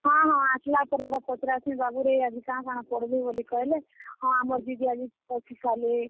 ହଁ, ଆସ୍ ଲା ପରେ ହେଟା ପଚ୍ ରାସିଁ, ବାବୁରେ ଆଜି କାଣାକାଣା ପଢ଼ଲୁ ବଲି କହେଲେ, ହଁ, ଆମର ଦିଦି ଆଜି ଗୀତ ଶିଖାଲେ।